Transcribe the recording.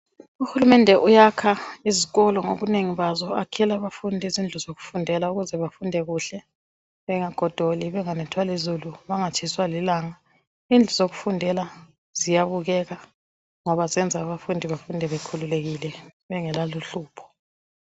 Uhulumende uyakha izikolo ezinengi ngobunengi bazo ukuze abafundi bayefundela kuhle izifundo zabo bengagodoli bengatshiswa lilanga befunde bekhululekile .